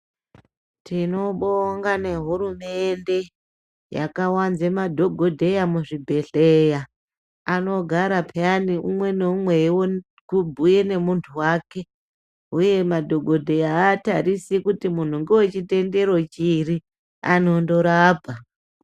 Tinobonga nehurumende yakawanze madhokodheya muzvibhedhleya. Anogara payeni umwe neumwe eyiwone kubhuya nemuntu wake. Uye madhokodheya hatarisi kuti muntu ngewechitendero chiri, angorapa.